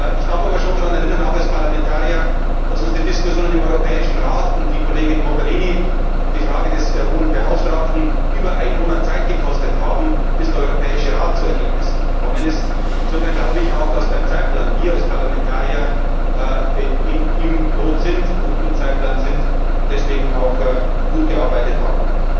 Ich darf aber schon daran erinnern, auch als Parlamentarier, dass uns die Diskussionen im Europäischen Rat um die Kollegin Mogherini, um die Frage der Hohen Beauftragten, über einen Monat Zeit gekostet haben, bis der Europäische Rat zu Ergebnissen gekommen ist. Insofern glaube ich auch, dass wir als Parlamentarier beim Zeitplan im Lot sind und deswegen auch gut gearbeitet haben.